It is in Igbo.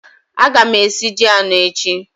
Aga m esi ji anọ echi